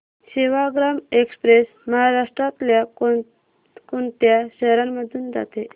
Sevagram express महाराष्ट्रातल्या कोण कोणत्या शहरांमधून जाते